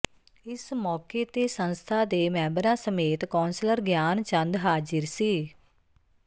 ਇਸ ਮੋਕੇ ਤੇ ਸੰਸਥਾ ਦੇ ਮੈਬਰਾ ਸਮੇਤ ਕੌਸਲਰ ਗਿਆਨ ਚੰਦ ਹਾਜਿਰ ਸੀ